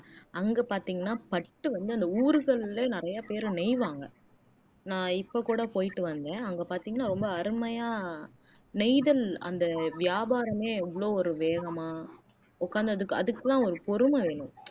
அங்க பாத்தீங்கன்னா பட்டு வந்து அந்த ஊர்கள்ல நிறைய பேரு நெய்வாங்க நான் இப்ப கூட போயிட்டு வந்தேன் அங்க பார்த்தீங்கன்னா ரொம்ப அருமையா நெய்தல் அந்த வியாபாரமே எவ்வளவு ஒரு வேகமா உட்கார்ந்ததுக்கு அதுக்கெல்லாம் ஒரு பொறுமை வேணும்